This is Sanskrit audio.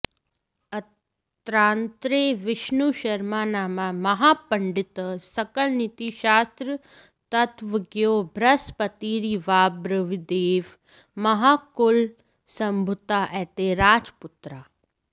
अत्रान्तरे विष्णुशर्मनामा महापण्डितः सकलनीतिशास्त्रतत्त्वज्ञो बृहस्पतिरिवाब्रवीत्देव महाकुलसम्भूता एते राजपुत्राः